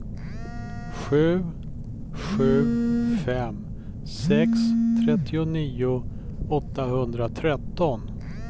sju sju fem sex trettionio åttahundratretton